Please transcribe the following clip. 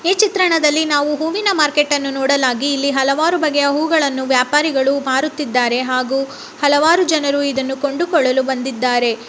ಈ ಚಿತ್ರಣದಲ್ಲಿ ನಾವು ಹೂವಿನ ಮಾರ್ಕೆಟನ್ನು ನೋಡಲಾಗಿ ಇಲ್ಲಿ ಹಲವಾರು ಬಗ್ಗೆಯ ಹೂವುಗಳನ್ನು ವ್ಯಾಪಾರಿಗಳು ಮಾರುತ್ತಿದ್ದಾರೆ ಹಾಗೂ ಹಲವಾರು ಜನರು ಇದನ್ನು ಕೊಂಡುಕೊಳ್ಳಲು ಬಂದಿದ್ದಾರೆ.